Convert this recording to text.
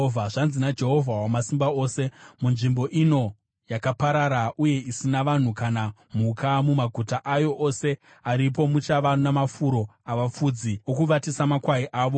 “Zvanzi naJehovha Wamasimba Ose, ‘Munzvimbo ino, yakaparara uye isina vanhu kana mhuka, mumaguta ayo ose aripo muchava namafuro avafudzi okuvatisa makwai avo.